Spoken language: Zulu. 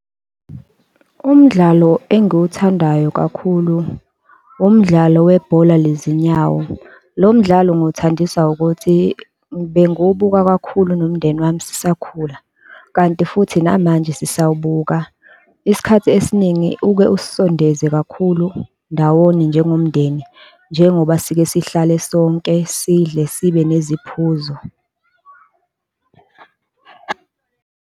Umdlalo engiwathandayo kakhulu, umdlalo webhola lezinyawo. Lo mdlali ngiwuthandiswa ukuthi bengiwubuka kakhulu nomndeni wami sisakhula, kanti futhi namanje sisawubuka. Isikhathi esiningi uke usisondeze kakhulu ndawonye njengomndeni, njengoba sike sihlale sonke, sidle sibe neziphuzo.